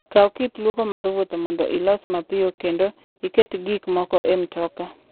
Kaw kit lwoko mar wuoth mondo ilos mapiyo kendo iket gik moko e mtoka.